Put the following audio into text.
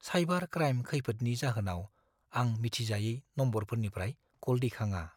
Cyber crime खैफोदनि जाहोनाव आं मिथिजायै नम्बरफोरनिफ्राय क'ल दैखाङा।